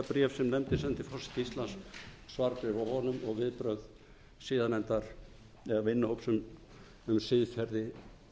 forseta íslands svarbréf frá honum og viðbrögð siðanefndar eða vinnuhóps um siðferði